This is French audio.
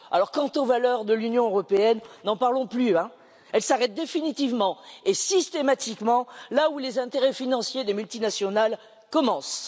Quant aux valeurs de l'Union européenne, n'en parlons plus, elles s'arrêtent définitivement et systématiquement là où les intérêts financiers des multinationales commencent.